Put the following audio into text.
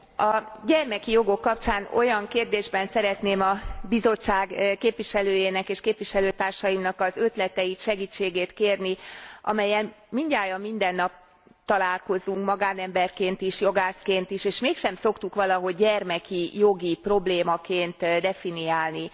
A gyermeki jogok kapcsán olyan kérdésben szeretném a Bizottság képviselőjének és képviselőtársaimnak az ötleteit, segítségét kérni, amellyel mindnyájan mindennap találkozunk magánemberként is és jogászként is, és mégsem szoktuk valahogy gyermeki jogi problémaként definiálni.